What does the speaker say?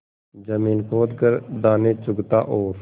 जमीन खोद कर दाने चुगता और